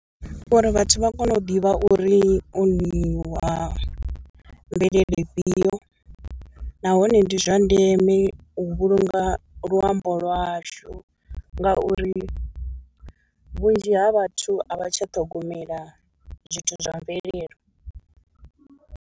Uri vhathu vha kone u ḓivha uri o nyi wa mvelele ifhio, nahone ndi zwa ndeme u vhulunga luambo lwashu ngauri vhunzhi ha vhathu a vha tsha ṱhogomela zwithu zwa mvelele.